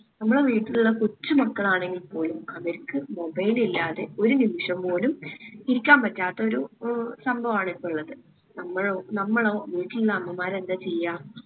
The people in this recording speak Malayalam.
നമ്മളെ വീട്ടിലുള്ള കൊച്ചു മക്കളാണെങ്കിൽ പോലും അവർക്ക് mobile ഇല്ലാണ്ട് ഒരു നിമിഷം പോലും ഇരിക്കാൻ പറ്റാത്തൊരു ഏർ സംഭവാണ് ഇപ്പൊ ഇള്ളത്. നമ്മളോ? നമ്മളോ? വീട്ടിലില്ല അമ്മമാർ എന്താ ചെയ്യാ